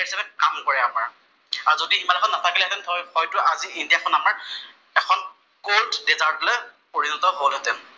হিচাপে কাম কৰে আমাৰ, আৰু যদি হিমালয়খন নাথাকিল হেঁতেন হয়টো আজি ইণ্ডিয়া খন আমাৰ এখন কʼল্ডদিজাৰ। টলৈ পৰিণত হʼল হেঁতেন।